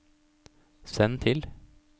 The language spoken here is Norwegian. send til